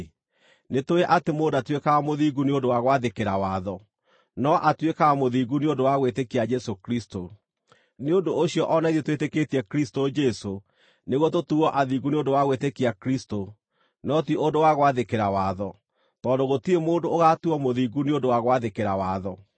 nĩtũũĩ atĩ mũndũ ndatuĩkaga mũthingu nĩ ũndũ wa gwathĩkĩra watho, no atuĩkaga mũthingu nĩ ũndũ wa gwĩtĩkia Jesũ Kristũ. Nĩ ũndũ ũcio o na ithuĩ twĩtĩkĩtie Kristũ Jesũ nĩguo tũtuuo athingu nĩ ũndũ wa gwĩtĩkia Kristũ, no ti ũndũ wa gwathĩkĩra watho, tondũ gũtirĩ mũndũ ũgaatuuo mũthingu nĩ ũndũ wa gwathĩkĩra watho.